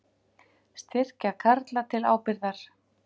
Styrkja Karla til ábyrgðar